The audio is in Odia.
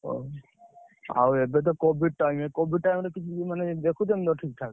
ଓଃ ଆଉ ଏବେ ତ covid time covid time ରେ ମାନେ ଦେଖୁଛନ୍ତି ତ ଠିକ୍ ଠାକ୍?